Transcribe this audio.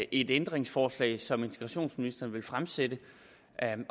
ændringsforslag som integrationsministeren ville fremsætte